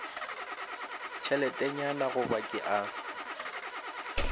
tšheletenyana go ba ke a